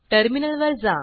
टर्मिनलवर जा